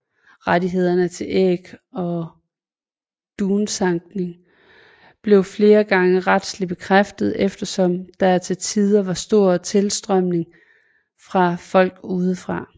Rettighederne til æg og dunsankning blev flere gange retslig bekræftet eftersom der til tider var stor tilstrømning fra folk udefra